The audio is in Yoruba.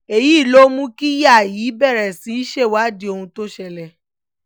èyí ló mú kíyàá yìí bẹ̀rẹ̀ sí í ṣèwádìí ohun tó ṣẹlẹ̀